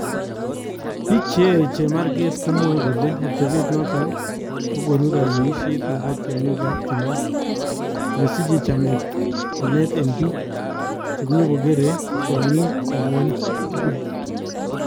Biik cheyae chemarkeet komwae kole atebeet noton kokonuu kayweisyeet nebo tyong'iikab timiin, nee siche chameet en biik chenyikokeere tyong'iik ngwony tukul.